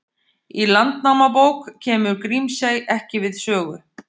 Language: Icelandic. Í Landnámabók kemur Grímsey ekki við sögu.